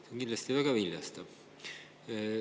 See on kindlasti väga viljastav.